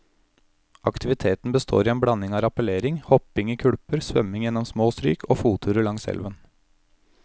Aktiviteten består i en blanding av rappellering, hopping i kulper, svømming gjennom små stryk og fotturer langs elven.